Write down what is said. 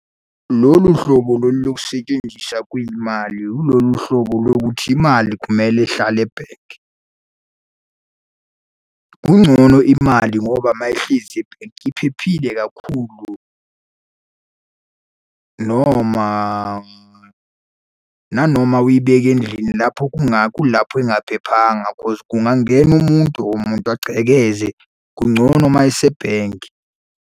Lolu hlobo lolu lokusetshenziswa kwemali yilolu hlobo lokuthi imali kumele ihlale ebhenki. Kungcono imali ngoba uma ihlezi ebhenki iphephile kakhulu noma nanoma uyibeke endlini lapho kulapho engaphephanga cause kungangena umuntu or umuntu agcekeze. Kungcono uma isebhenki.